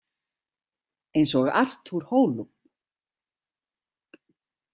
Eins og Artur Holub.